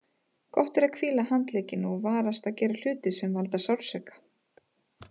Gott er að hvíla handlegginn og varast að gera hluti sem valda sársauka.